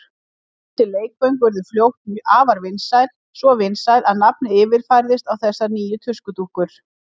Þessi leikföng urðu fljótt afar vinsæl, svo vinsæl að nafnið yfirfærðist á þessar nýju tuskudúkkur.